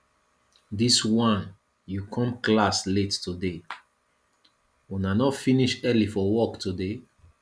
dis wan you come class late today una no finish early for work today